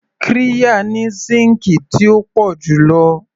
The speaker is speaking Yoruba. Qirya ni síǹkì tí ó pọ̀ jù lo